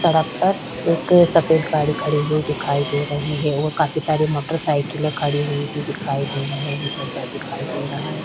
सड़क पर एक सफेद गाड़ी खड़ी हुई दिखाई दे रही है वो काफी सारे मोटरसायकले खड़े हुई भी देखाई दे रहै है चदर दिखाई दे रहा है।